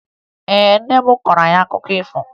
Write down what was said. Ee, nne m kọọrọ anyị akụkọ ifo